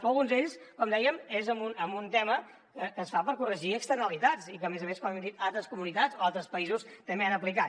però alguns d’ells com dèiem són en un tema que es fa per corregir externalitats i que a més a més com hem dit altres comunitats o altres països també han aplicat